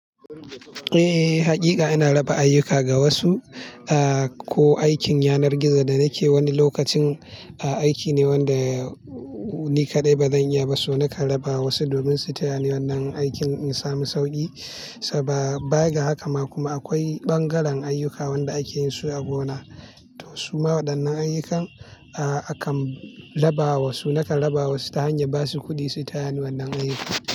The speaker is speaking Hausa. Eh, hakika ina raba ayyuka ga wasu. Ko aikin yanar gizo da nake wani lokacin aiki ne wanda ni kadai bazan iya ba so naka raba wa wasu domin su taya ni wannan aikin in samu sauƙi. To ba, baya ga haka ma kuma akwai ɓangaren ayyuka wanda ake da su a gona. To su ma waɗannan ayukan akan rabawa wasu. Akan rabawa wasu ta hanyar basu kuɗi su taya ni wannan aiki.